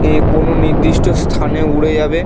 এ কোনো নির্দির্ট স্থানে উরে যাবে ।